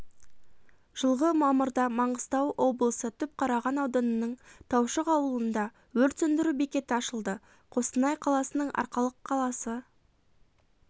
жылғы мамырда маңғыстау облысы түпқараған ауданының таушық ауылында өрт сөндіру бекеті ашылды қостанай қаласының арқалық қаласы